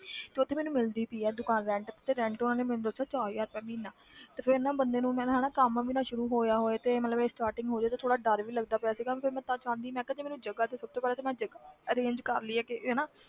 ਤੇ ਉੱਥੇ ਮੈਨੂੰ ਮਿਲਦੀ ਪਈ ਆ ਦੁਕਾਨ rent ਤੇ ਤੇ rent ਉਹਨਾਂ ਨੇ ਮੈਨੂੰ ਦੱਸਿਆ ਚਾਰ ਹਜ਼ਾਰ ਰੁਪਇਆ ਮਹੀਨਾ ਤੇ ਫਿਰ ਨਾ ਬੰਦੇ ਨੂੰ ਮੇਰਾ ਹਨਾ ਕੰਮ ਵੀ ਨਾ ਸ਼ੁਰੂ ਹੋਇਆ ਹੋਏ ਤੇ ਮਤਲਬ ਇਹ starting ਹੋਏ ਤੇ ਥੋੜ੍ਹਾ ਡਰ ਵੀ ਲੱਗਦਾ ਪਿਆ ਸੀਗਾ ਫਿਰ ਮੈਂ ਤਾਂ ਚਾਹੁੰਦੀ ਮੈਂ ਕਿਹਾ ਜੇ ਮੈਨੂੰ ਜਗ੍ਹਾ ਤੇ ਸਭ ਤੋਂ ਪਹਿਲੇ ਤਾਂ ਮੈਂ ਜਗ੍ਹਾ arrange ਕਰ ਲਈਏ ਕੋਈ ਹਨਾ।